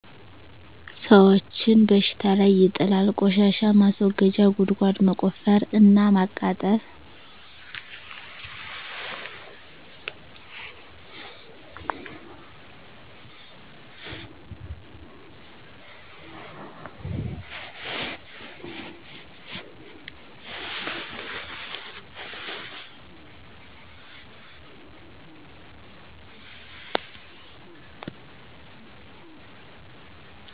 ሰወችን በሽታ ላይ ይጥላል : ቆሻሻ ማስወገጃ ጉድጓድ መቆፈር እና ማቃጠል